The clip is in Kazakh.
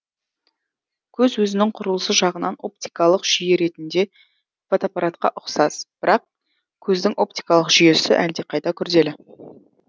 көз өзінің құрылысы жағынан оптикалық жүйе ретінде фотоаппаратқа ұқсас бірақ көздің оптикалық жүйесі әлдеқайда күрделі